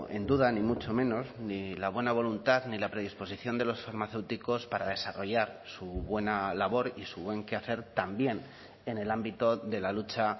en duda ni mucho menos ni la buena voluntad ni la predisposición de los farmacéuticos para desarrollar su buena labor y su buen quehacer también en el ámbito de la lucha